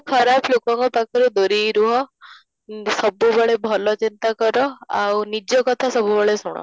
ଖରାପ ଲୋକଙ୍କ ପାଖରୁ ଦୁରେଇ ରୁହ, ଓଁ ସବୁବେଳେ ଭଲ ଚିନ୍ତା କର ଆଉ ନିଜ କଥା ସବୁବେଳେ ଶୁଣ